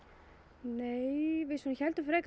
nei við svona héldum frekar